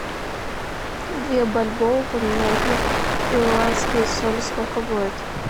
две бальбоа поменять на перуанские соли сколько будет